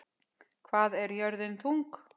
Hvað er jörðin þung?